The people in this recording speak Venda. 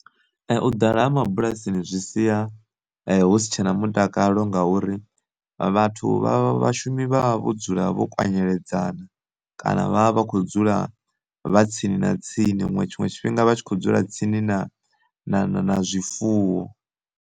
U ḓala ha mabulasini zwi sia hu si tsha na mutakalo ngauri vhathu vha vhashumi vha vha vho dzula vho kwanyeledzana, kana vha vha vha khou dzula vha tsini na tsini muṅwe tshinwe tshifhinga vhatshi kho dzula tsini na na zwifuwo.